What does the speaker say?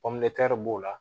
b'o la